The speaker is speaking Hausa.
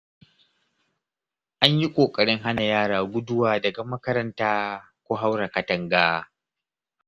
An yi ƙoƙarin hana yara guduwa daga makaranta ko haura katanga.